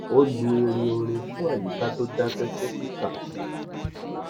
ó lu irin orin fún àyíká tó dakẹ fún kika